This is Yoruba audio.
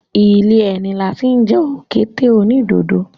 Ilé ẹni la tí ń jẹ òkété onídodo.